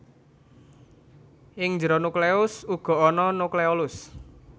Ing njero nukleus uga ana nukleolus